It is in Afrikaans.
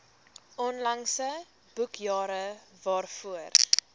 onlangse boekjare waarvoor